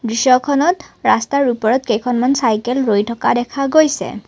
দৃশ্যখনত ৰাস্তাৰ ওপৰত কেইখনমান চাইকেল ৰৈ থকা দেখা গৈছে।